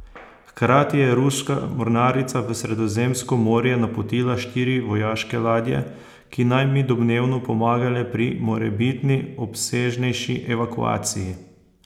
Hkrati je ruska mornarica v Sredozemsko morje napotila štiri vojaške ladje, ki naj bi domnevno pomagale pri morebitni obsežnejši evakuaciji.